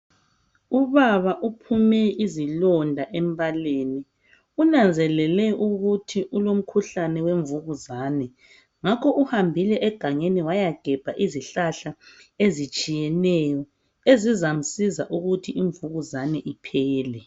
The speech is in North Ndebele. Ubaba uphume izilonda embaleni, unanzelele ukuthi ulomkhuhlane wemvukuzane ngakho uhambile egangeni wayagebha izihlahla ezitshiyeneyo ezizamsiza ukuthi imvukuzane iphele.